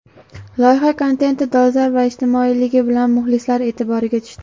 Loyiha kontenti dolzarb va ijtimoiyligi bilan muxlislar e’tiboriga tushdi.